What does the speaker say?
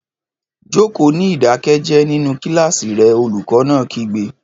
Jókòó ní ìdákẹ́jẹ́ẹ́ nínú kíláàsì rẹ, olùkọ́ náà kígbe